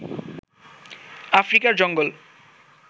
আফ্রিকার জঙ্গল